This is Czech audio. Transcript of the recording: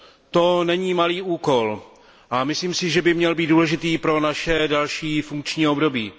To není malý úkol a myslím si, že by měl být důležitý pro naše další funkční období.